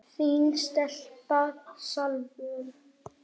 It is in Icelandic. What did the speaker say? Þín stelpa, Salvör.